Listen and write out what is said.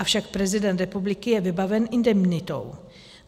Avšak prezident republiky je vybaven indemnitou.